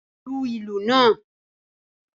Lu ìlù naa!